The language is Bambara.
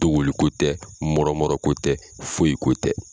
Dogoli ko tɛ mɔrɔ mɔrɔ ko tɛ foyi ko tɛ.